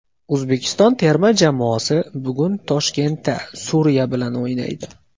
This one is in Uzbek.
O‘zbekiston terma jamoasi bugun Toshkentda Suriya bilan o‘ynaydi.